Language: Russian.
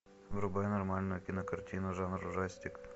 врубай нормальную кинокартину жанра ужастик